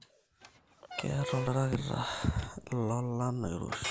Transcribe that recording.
Keyieta oltrackta lolan oiroshi